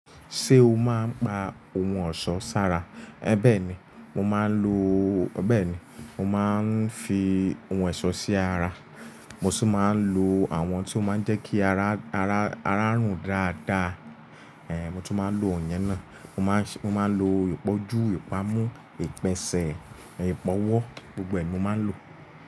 Ṣé o máa ń pa ohun ọ̀ṣọ́ sára? Bẹ́ẹ̀ni, mo máa ń lo Bẹ́ẹ̀ni, mo máa ń fi ohun ẹ̀ṣọ́ sí ara, mo sì máa ń lo àwọn tí ó máa ń jẹ́ kí ara, ara, ara rùn dáadáa. Ehn, mo tún máa ń lo iyen náà. Mo máa ń ṣe, mo máa ń lo ìpọ́jú, ìpamu, ìpèsè, ìpọwọ́, gbogbo ẹ̀ ni mo máa ń lò.